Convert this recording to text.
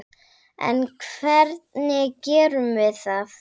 En hvernig gerum við það?